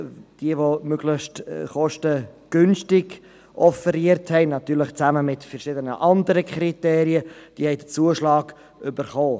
Diejenigen, die möglichst kostengünstig offeriert haben – natürlich zusammen mit verschiedenen anderen Kriterien –, haben den Zuschlag erhalten.